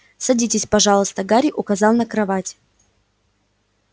садитесь пожалуйста гарри указал на кровать